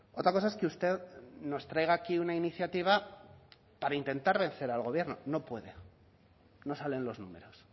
otra cosa es que usted nos traiga aquí una iniciativa para intentar vencer al gobierno no puede no salen los números